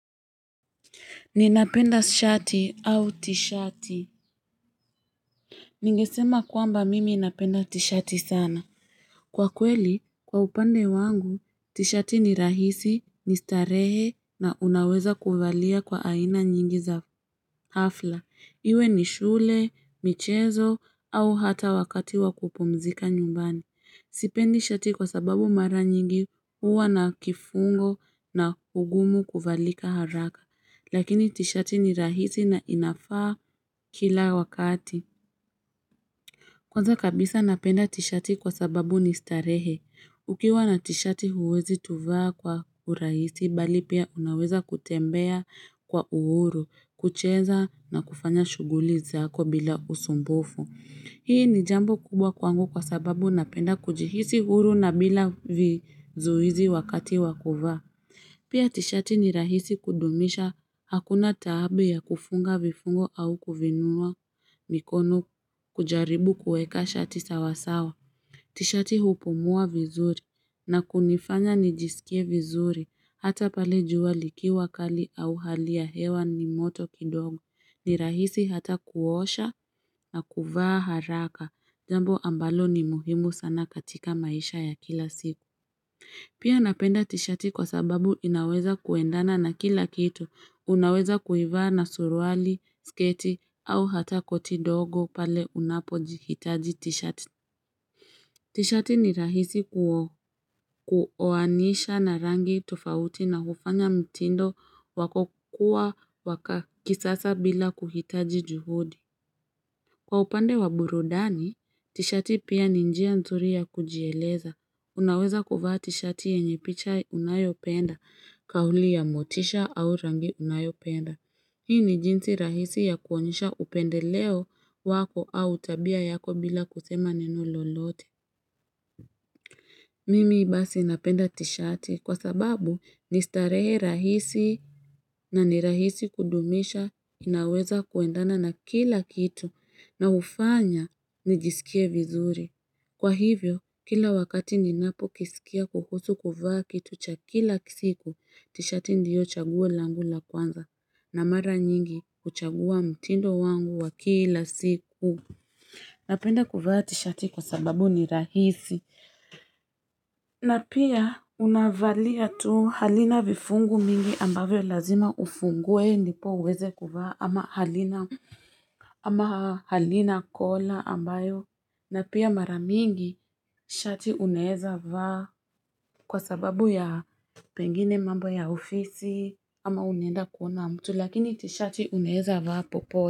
Ninapenda shati au tishati. Ningesema kwamba mimi napenda tishati sana. Kwa kweli, kwa upande wangu, tishati ni rahisi, ni starehe na unaweza kuvalia kwa aina nyingi za hafla. Iwe ni shule, michezo, au hata wakati wa kupumzika nyumbani. Sipendi shati kwa sababu mara nyingi huwa na kifungo na ugumu kuvalika haraka. Lakini tishati ni rahisi na inafaa kila wakati. Kwanza kabisa napenda tishati kwa sababu ni starehe. Ukiwa na tishati huwezi tuvaa kwa urahisi, bali pia unaweza kutembea kwa uhuru, kucheza na kufanya shughuli zako bila usumbufu. Hii ni jambo kubwa kwangu kwa sababu napenda kujihisi huru na bila vizuizi wakati wa kuvaa. Pia tishati ni rahisi kudumisha, hakuna taabu ya kufunga vifungo au kuviinua mikono kujaribu kueka shati sawasawa. Tishati hupumua vizuri na kunifanya nijisikie vizuri hata pale jua likiwa kali au hali ya hewa ni moto kidogo, ni rahisi hata kuosha na kuvaa haraka jambo ambalo ni muhimu sana katika maisha ya kila siku. Pia napenda tishati kwa sababu inaweza kuendana na kila kitu, unaweza kuivaa na suruali, sketi au hata koti dogo pale unapojihitaji tishati. Tishati ni rahisi kuoanisha na rangi tofauti na hufanya mtindo wako kuwa wa kisasa bila kuhitaji juhudi. Kwa upande wa burudani, tishati pia ni njia nzuri ya kujieleza. Unaweza kuvaa tishati yenye picha unayopenda, kauli ya motisha au rangi unayopenda. Hii ni jinsi rahisi ya kuonyesha upendeleo wako au tabia yako bila kusema neno lolote. Mimi basi napenda tishati kwa sababu ni starehe rahisi na ni rahisi kudumisha, inaweza kuendana na kila kitu na hufanya nijisikie vizuri. Kwa hivyo kila wakati ninapo kisikia kuhusu kuvaa kitu cha kila siku, tishati ndiyo chaguo langu la kwanza, na mara nyingi kuchagua mtindo wangu wa kila siku. Napenda kuvaa tishati kwa sababu ni rahisi na pia unavalia tu halina vifungu mingi ambavyo lazima ufungue ndipo uweze kuvaa ama halina ama halina kola ambayo na pia mara mingi shati unaeza vaa kwa sababu ya pengine mambo ya ofisi ama unaenda kuona mtu lakini tishati unaeza vaa popote.